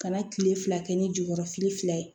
Ka na kile fila kɛ ni jukɔrɔ fili fila ye